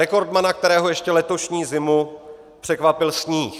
Rekordmana, kterého ještě letošní zimu překvapil sníh.